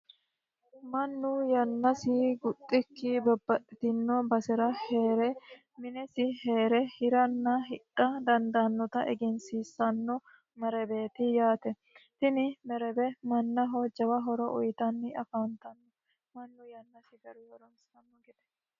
mannu yannasi guxxikki babbaxitino basera heere minesi heere hiranna hidha dandaannota egensiissanno maraweeti yaate tini marawe mannaho jawa horo uyitanni afaantanno mannu yannasi garunni horoonsirano gedeeti.